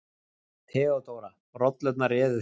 THEODÓRA: Rollurnar réðu því.